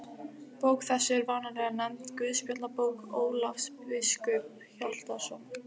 Bók þessi er vanalega nefnd Guðspjallabók Ólafs biskups Hjaltasonar.